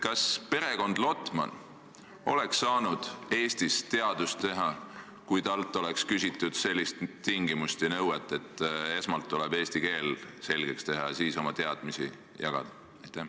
Kas perekond Lotman oleks saanud Eestis teadust teha, kui talle oleks esitatud selline tingimus ja nõue, et esmalt tuleb eesti keel selgeks õppida ja siis oma teadmisi jagada?